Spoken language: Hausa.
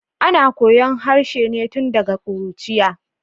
Ana koyon harshe ne tun daga kuruciya.